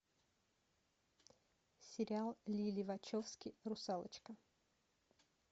сериал лили вачовски русалочка